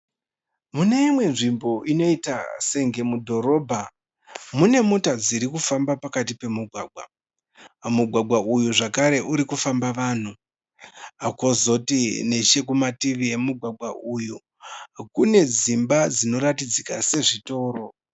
Mune imwe nzvimbo unoita senge mudhorobha mune mota dziri kufamba pakati pomugwaga. Mugwagwa uyu zvakare urikufamba vanhu. Kwozoti nechekumativi emugwagwa uyu kune dzimba dzinoratidzika sezvitoro.